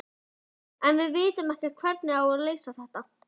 Þorbjörn: En vitum við hvernig á að leysa þetta?